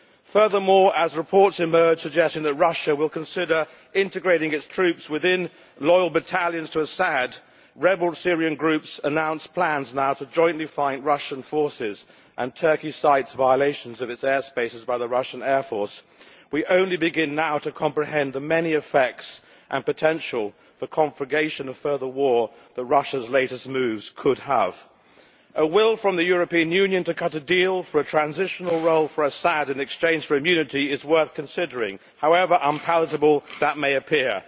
Furthermore, as reports emerge suggesting that Russia will consider integrating its troops within battalions loyal to Assad, as rebel Syrian groups announce plans now to jointly fight Russian forces, and as Turkey cites violations of its airspace by the Russian air force, we are just beginning to comprehend the many effects, and the potential for conflagration of further war, that Russia's latest moves could have. A will by the European Union to cut a deal, with a transitional role for Assad in exchange for immunity, is worth considering, however unpalatable that may appear.